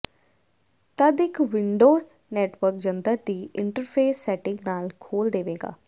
ਤਦ ਇੱਕ window network ਜੰਤਰ ਦੀ ਇੰਟਰਫੇਸ ਸੈਟਿੰਗ ਨਾਲ ਖੋਲ ਦੇਵੇਗਾ